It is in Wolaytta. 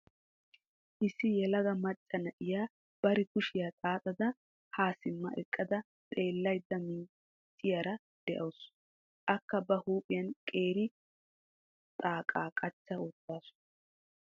Issi yelaga macca na'iyaa bari kushiyaa xaaxxada ha simma eqqada xeellaydda miicciyaara de'awusu. Akka ba huuphiyaan qeeri xaaqa qachcha wottaasu.